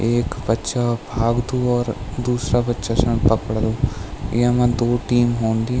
एक बच्चा भाग्दू और दूसरा बच्चा स्य पकडदु येमा दो टीम हून्दी।